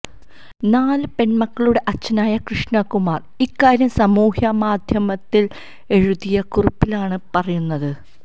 നാല് പെണ്മക്കളുടെ അച്ഛനായ കൃഷ്ണകുമാര് ഇക്കാര്യം സാമൂഹ്യമാധ്യമത്തില് എഴുതിയ കുറിപ്പിലാണ് പറയുന്നത്